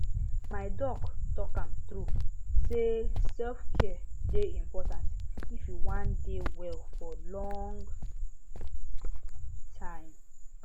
my doc talk am true say selfcare dey important if you wan dey well for long time